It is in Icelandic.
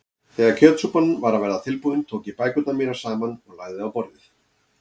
Þegar kjötsúpan var að verða tilbúin tók ég bækurnar mínar saman og lagði á borðið.